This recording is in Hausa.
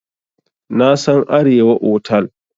Na san Arewa otal.